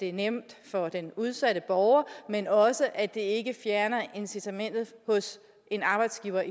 er nemt for den udsatte borger men også at det ikke fjerner incitamentet hos en arbejdsgiver